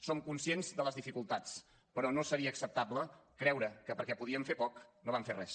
som conscients de les dificultats però no seria acceptable creure que perquè podíem fer poc no vam fer res